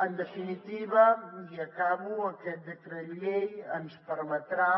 en definitiva i acabo aquest decret llei ens permetrà